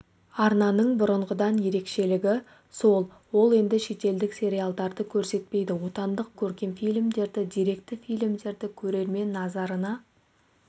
арнаның бұрынғыдан ерекшілігі сол ол енді шетелдік сериалдарды көрсетпейді отандық көркем фильмдерді деректі фильмдерді көрермен назарына